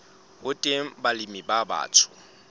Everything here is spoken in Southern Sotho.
ho teng balemi ba batsho